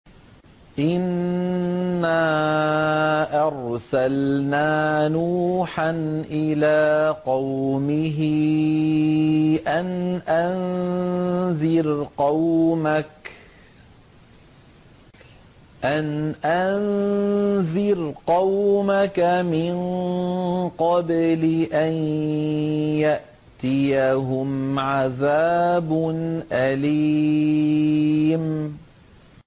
إِنَّا أَرْسَلْنَا نُوحًا إِلَىٰ قَوْمِهِ أَنْ أَنذِرْ قَوْمَكَ مِن قَبْلِ أَن يَأْتِيَهُمْ عَذَابٌ أَلِيمٌ